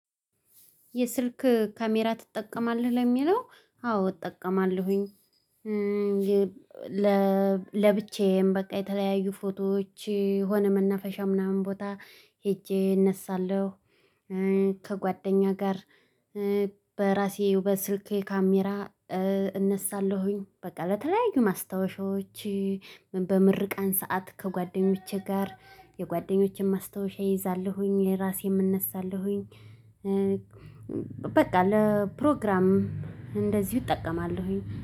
የስልክ ካሜራ ትጠቀማለህ ለሚለው? አዎ እጠቀማለሁኝ። ለብቻዬም በቃ የተለያዩ ፎቶዎች የሆነ መናፈሻ ምናምን ቦታ ሄጄ እነሳለሁ። ከጓደኛ ጋር በራሴ በስልኬ ካሜራ እነሳለሁኝ። በቃ ለተለያዩ ማስታወሻዎች በምርቃን ሰዓት ከጓደኞቼ ጋር የጓደኞቼን ማስታወሻ እይዛለሁኝ የራሴን እነሳለሁኝ። በቃ ለፕሮግራም እንደዚህ እጠቀማለሁኝ።